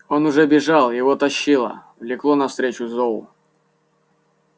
он уже бежал его тащило влекло навстречу зову